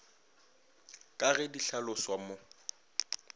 ka ge di hlaloswa mo